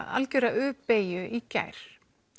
algera u beygju í gær